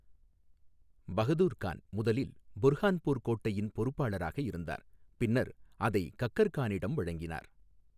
பஹதூர் கான் முதலில் புர்ஹான்பூர் கோட்டையின் பொறுப்பாளராக இருந்தார், பின்னர் அதை கக்கர் கானிடம் வழங்கினார்.